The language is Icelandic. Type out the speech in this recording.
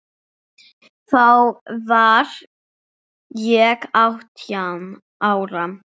Þá var ég átján ára.